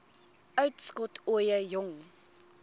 uitskot ooie jong